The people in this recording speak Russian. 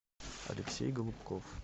алексей голубков